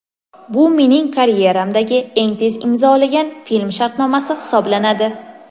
Bu mening karyeramdagi eng tez imzolagan film shartnomasi hisoblanadi.